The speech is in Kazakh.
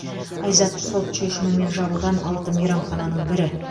айзат сот шешімімен жабылған алты мейрамхананың бірі